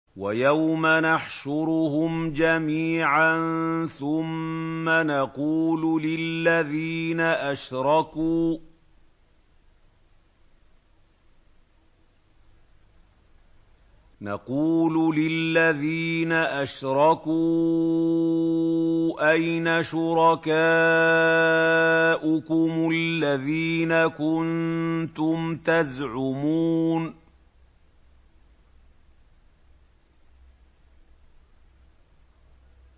وَيَوْمَ نَحْشُرُهُمْ جَمِيعًا ثُمَّ نَقُولُ لِلَّذِينَ أَشْرَكُوا أَيْنَ شُرَكَاؤُكُمُ الَّذِينَ كُنتُمْ تَزْعُمُونَ